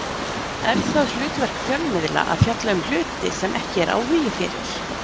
Er það hlutverk fjölmiðla að fjalla um hluti sem ekki er áhugi fyrir?